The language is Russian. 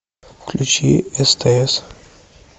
включи стс